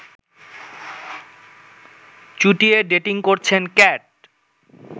চুটিয়ে dating করছেন cat